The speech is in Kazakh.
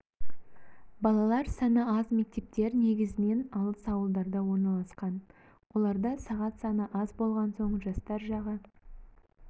балалар саны аз мектептер негізінен алыс ауылдарда орналасқан оларда сағат саны аз болған соң жастар жағы